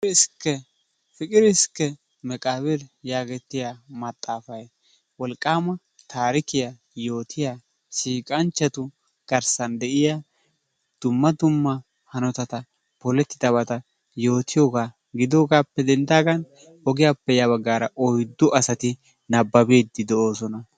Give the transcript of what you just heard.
Piqiri iskke meqqabir yaagetiya maxaafay wolqqama tarikkiya yootiya siiqqanchchatu garssan de'iyaa dumma dumma hanotatta polettida hanotatta yootiyooga gidoogappe denddaagan ogiyaappe ya baggaara oyddu asati nababbide doosona.